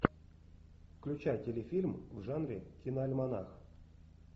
включай телефильм в жанре киноальманах